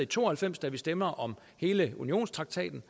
to og halvfems da vi stemte om hele unionstraktaten